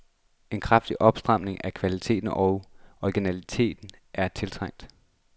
En kraftig opstramning af kvalitet og originalitet er tiltrængt.